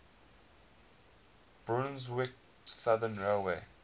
brunswick southern railway